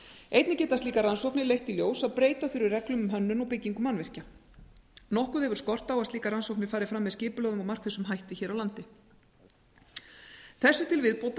einnig geta slíkar rannsóknir leitt í ljós að breyta þurfi reglum um hönnun og byggingu mannvirkja nokkuð hefur skort á að slíkar rannsóknir fari fram með skipulögðum og markvissum hætti hér á landi þessu til viðbótar